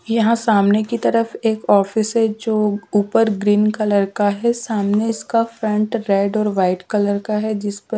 यहां सामने की तरफ एक ऑफिस है जो ऊपर ग्रीन कलर का है सामने इसका फ्रंट रेड और वाइट कलर का है जिसमें ।